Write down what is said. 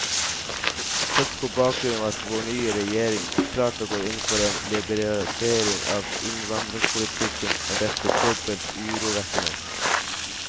Sett på bakgrunn av at vår nye regjering klart har gått inn for en liberalisering av innvandringspolitikken, er dette dobbelt urovekkende.